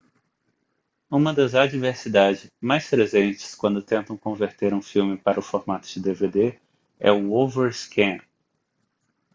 uma das adversidade mais presentes quando tentam converter um filme para o formato de dvd é o overscan